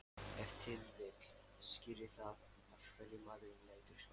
Ef til vill skýrir það af hverju maðurinn lætur svona.